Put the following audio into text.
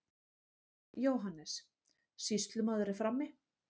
JÓHANNES: Sýslumaður er frammi.